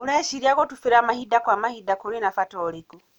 ũreciria gũtubira mahinda kwa mahinda kũrĩ na bata ũrĩkũ?